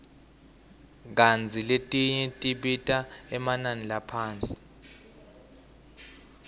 kantsi letinye tibita emanani laphasi